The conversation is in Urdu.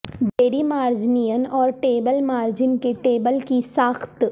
ڈیری مارجنین اور ٹیبل مارجن کے ٹیبل کی ساخت